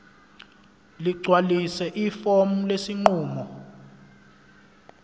ligcwalise ifomu lesinqumo